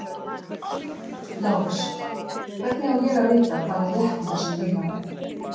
LÁRUS: Hvernig á ég að vita hvað er rétt í þessum lygavef?